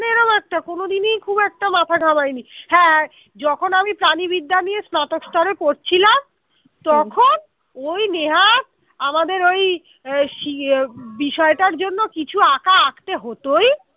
খুব একটা কোনদিনই খুব একটা মাথা ঘামায় নেই হ্যাঁ যখন আমি প্রাণিবিদ্যা নিয়ে স্নাতক স্তরে পড়ছিলাম তখন ওই নেহাত আমাদের ওই বিষয়টার জন্য কিছু আঁকা আঁকতে হতোই